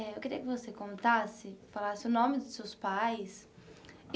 Eh eu queria que você contasse falasse o nome dos seus pais.